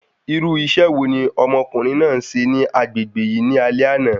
Irú isẹ́ wo ni ọmọkùnrin náà se ni agbègbè yìí ní alé àná?